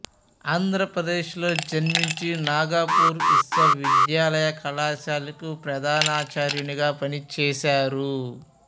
ఆంధ్రప్రదేశ్ లో జన్మిచి నాగపూర్ విశ్వవిద్యాలయ కళాశాలకు ప్రధానాచార్యునిగా పనిచేసారు